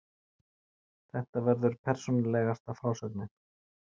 Þetta verður persónulegasta frásögnin.